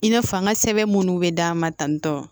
I n'a fɔ an ka sɛbɛn munnu be d'an ma tantɔ